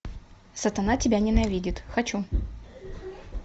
сатана тебя ненавидит хочу